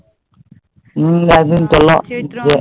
হম একদিন চলো।